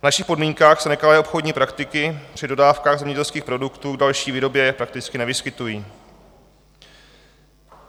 V našich podmínkách se nekalé obchodní praktiky při dodávkách zemědělských produktů k další výrobě prakticky nevyskytují.